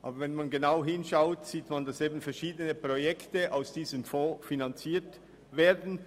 Aber wenn man genau hinschaut, sieht man, dass verschiedene Projekte daraus finanziert werden.